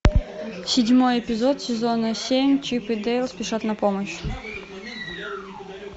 седьмой эпизод сезона семь чип и дейл спешат на помощь